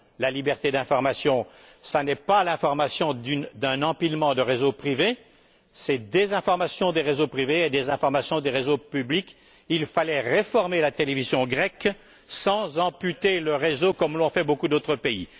La liberté d'information, ce n'est pas l'information d'un empilement de réseaux privés, ce sont des informations des réseaux privés et des informations des réseaux publics. Il fallait réformer la télévision grecque sans amputer le réseau, comme l'ont fait beaucoup d'autres pays.